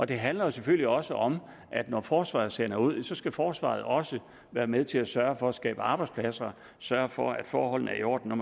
den handler jo selvfølgelig også om at når forsvaret sender folk ud så skal forsvaret også være med til at sørge for at skabe arbejdspladser sørge for at forholdene er i orden når